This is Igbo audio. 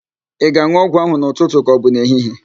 Ị ga-an̄ụ ọgwụ ahụ n'ụtụtụ ka ọbụ n'ehihie?